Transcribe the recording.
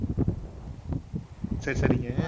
சரி, சரிங்க.